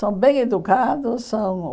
São bem educados. São